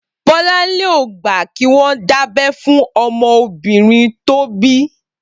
Bolanle ó gbà kiwọn dábẹ̀ fún ọmọ óbìrín tó bi